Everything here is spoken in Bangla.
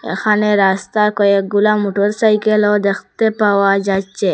এখানে রাস্তার কয়েকগুলা মোটরসাইকেলও দেখতে পাওয়া যাচ্ছে।